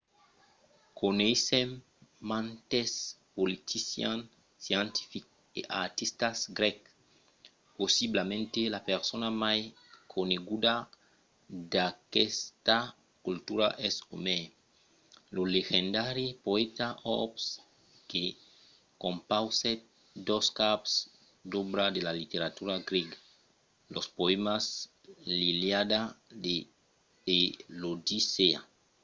coneissèm mantes politicians scientifics e artistas grècs. possiblament la persona mai coneguda d’aquesta cultura es omèr lo legendari poèta òrb que compausèt dos caps d’òbra de la literatura grèga: los poèmas l’iliada e l’odissèa